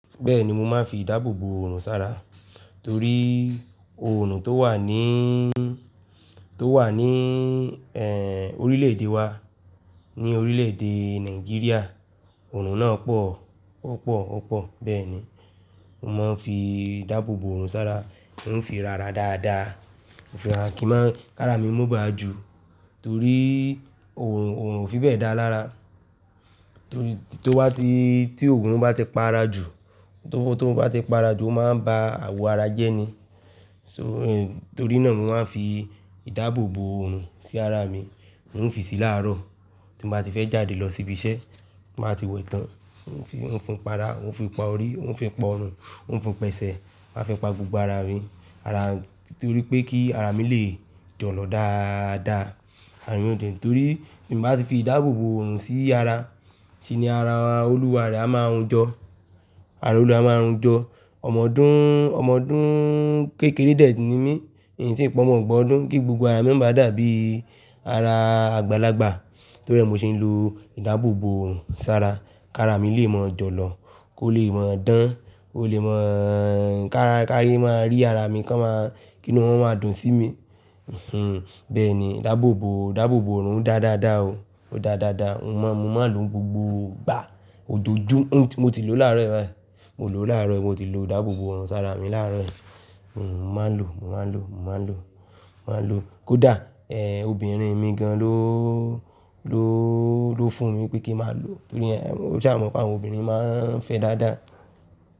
Bẹ́ẹ̀ni, mo máa ń fi ìdáàbòbò òòrùn sára torí òòrùn tó wà ní, tó wà ní, ẹ̀, orílẹ̀-èdè wa, ní orílẹ̀-èdè Nàìjíríà, òòrùn náà pọ̀, ó pọ̀, ó pọ̀. Bẹ́ẹ̀ ni, mo máa ń fi ìdáàbòbò òòrùn sá ra, mo ń fi ra ara dáadáa. Mo fi ra ara kí n má ń-- k'ára mi mọ́ ba à ju torí òòrùn, òòrùn ò fi bẹ́ẹ̀ da lára. Torí, tó bá ti-- tí òòrùn bá ti para jù, tó bá ti para jù, ó máa ń ba àwọ̀ ara jẹ́ni. So, torí náà mo máa ń fi ìdáàbòbò òòrùn sí ara mi. Mo ń fi si láàárọ̀ tí n bá ti fẹ́ jáde lọ síbi iṣẹ́, n bá ti wẹ̀ tán, n ó fi, n ó fi pa ara, n ó fi pa orí, n ó fi pa ọrùn, n ó fi pẹsẹ̀, n ó fi pa gbogbo ara à mi, ara-- torí pé kí ara mi lè jọ̀lọ̀ dáadáa. Àárín òde òní, torí tí n ǹ bá ti fi ìdáàbòbò òòrùn sí ara, ń ṣe ni ara olúwa rẹ̀ á máa hun jọ, ara olúwa ẹ̀ á máa hun jọ. Ọmọdún, ọmọdún kékeré dẹ̀ ni mí, n ǹ tíì pọ́ mọ ọgbọ̀n ọdún kí gbogbo ara mí má ba dà bí ara àgbàlagbà torí ẹ̀ nmo ṣe ń lo ìdáàbòbò òòrùn sára ká'arà mi lè mọ jọ̀lọ̀, kó leè mọ dán, kó le mọ, ká rí, káyé má a rí ara mi kán ma, kí nú wọn máa dùn sí mi. Hmm, bẹ́ẹ̀ ni ìdáàbòbò, ìdáàbòbò òòrùn da dáadáa o, ó da dáadáa. Mo ma, mo ma ń lò ó gbogbo ìgbà ojojú, un mo ti lò ó láàárọ̀ yí báyìí, mo lò ó láàárọ̀ yí, mo ti lo ìdáàbòbò òòrùn sára mi láàárọ̀ yìí. Mo má ń lò ó, mo má ń lò ó, mo má ń lò ó, mo má ń lò. Kódà, ẹ̀, obìnrin mi gan-an ló, ló, ló fún mi pé kí n máa lò ó. Torí ẹ-- o ṣáàmọ̀ pé àwọn obìnrin máa ń fẹ dáadáa.